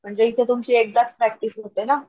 म्हणजे इथे तुमची एकदाच प्रॅक्टिस होते ना,